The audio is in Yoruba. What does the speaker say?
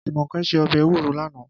Jumoke sé òbè éwúró làná